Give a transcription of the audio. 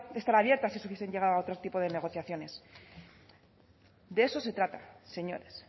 estar abierta si se hubiese llegado a otro tipo de negociaciones de eso se trata señores